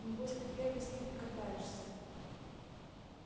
небось ты первый с ним и катаешься